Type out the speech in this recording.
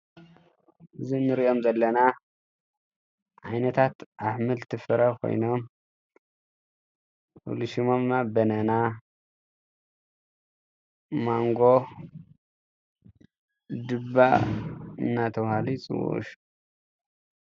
እዚ ንርእዮም ዘለና ዓይነታት ኣሕምልቲ ፍረ ኮይኖም ሙሉእ ሽሞም ድማ በነና ፣ ማንጎ፣ ዱባ እናተባህሉ ይጽዉዑ።